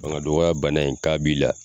Fanga dɔgɔya bana in k'a b'i la